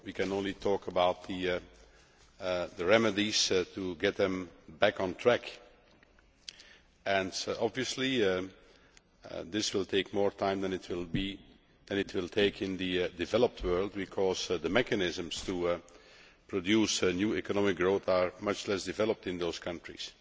We can only talk about the remedies to get them back on track, and obviously this will take more time than it will take in the developed world because the mechanisms to produce new economic growth are much less developed in those countries.